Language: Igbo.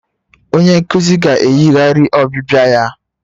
Onye nkuzi ga-eyigharị ọbịbịa ya